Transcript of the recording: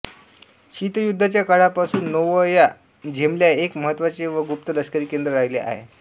शीतयुद्धाच्या काळापासून Novaya Zemlya एक महत्त्वाचे व गुप्त लष्करी केंद्र राहिले आहे